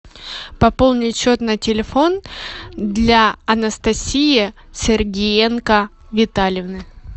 пополнить счет на телефон для анастасии сергеенко витальевны